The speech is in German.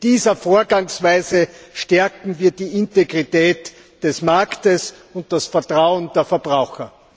Mit dieser Vorgangsweise stärken wir die Integrität des Marktes und das Vertrauen der Verbraucher.